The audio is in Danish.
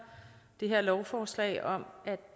det her lovforslag om at